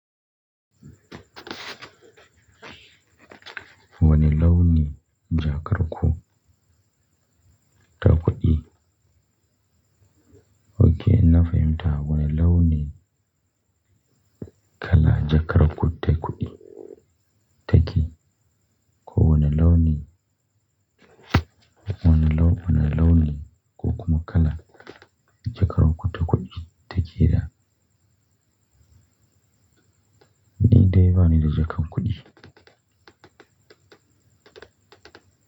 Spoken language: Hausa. Wane launin jakar ku ta kuɗi? Okay, na fahimta. Wane launin kala jakar ku takuɗi take? Ko wane launi, wane laune ko kuma kala jakar ku takuɗi take da? Ni dai bani da jakar kuɗi.